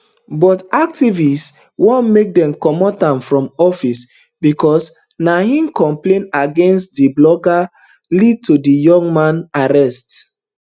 but activists want make dem comot am from office becos na im complaint against di blogger lead to di young man arrest